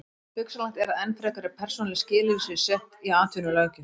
Hugsanlegt er að enn frekari persónuleg skilyrði séu sett í atvinnulöggjöf.